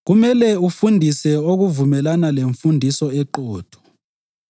Kumele ufundise okuvumelana lemfundiso eqotho.